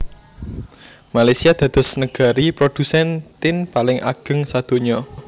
Malaysia dados negari prodhusen tin paling ageng sadonya